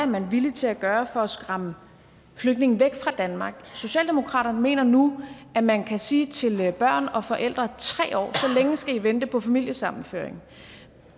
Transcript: man er villig til at gøre for at skræmme flygtninge væk fra danmark socialdemokratiet mener nu at man kan sige til børn og forældre at tre år så længe skal i vente på familiesammenføring